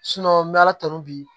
n bɛ ala tanu bi